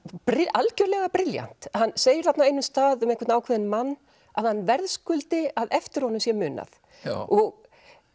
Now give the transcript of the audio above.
algjörlega brilljant hann segir þarna á einum stað um einhvern ákveðinn mann að hann verðskuldi að eftir honum sé munað og